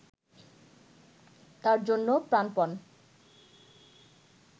তার জন্য প্রাণপন